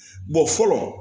fɔlɔ